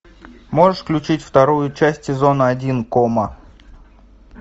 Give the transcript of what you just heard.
можешь включить вторую часть сезона один кома